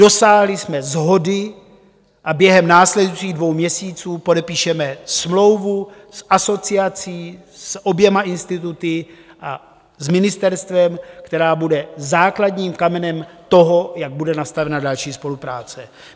Dosáhli jsme shody a během následujících dvou měsíců podepíšeme smlouvu s asociací, s oběma instituty a s ministerstvem, která bude základním kamenem toho, jak bude nastavena další spolupráce.